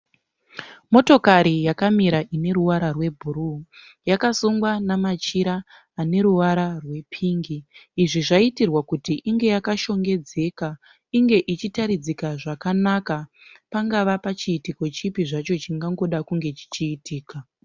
Motokari yakamira ine ruvara rwubhuruwu. Yakasungwa namachira aneruvara rwepingi. Izvi zvaitirwa kuti inge yakashongedza. Inge ichitaridzika zvakany, chingava chiitiko chipi zvacho chingangoda kunge chichiitika.